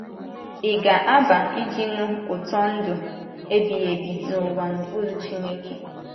Ị̀ ga - aba iji nụ ụtọ ndụ ebighị ebi, n’ụwa n’okpuru Chineke?